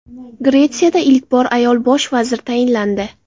Gretsiyada ilk bor ayol bosh vazir tayinlandi.